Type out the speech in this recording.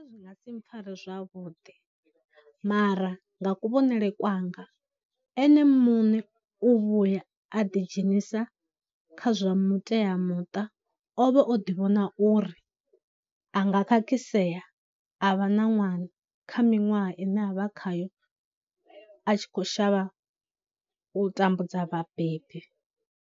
Zwi nga si mpfhare zwavhuḓi, mara nga kuvhonele kwanga ene muṋe u vhuya a ḓi dzhenisa kha zwa muteamuṱa ovha o ḓi vhona uri a nga khakhisea a vha na ṅwana kha minwaha ine a vha khayo a tshi khou shavha u tambudza vhabebi.